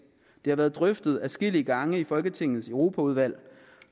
det har været drøftet adskillige gange i folketingets europaudvalg